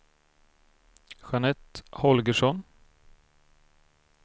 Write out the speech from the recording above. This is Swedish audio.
Jeanette Holgersson